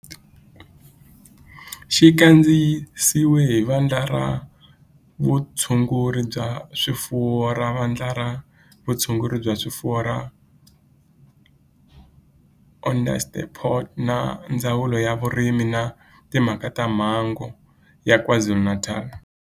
Xi kandziyisiwe hi Vandla ra Vutshunguri bya swifuwo ra Vandla ra Vutshunguri bya swifuwo ra Onderstepoort na Ndzawulo ya Vurimi na Timhaka ta Mbango ya KwaZulu-Natal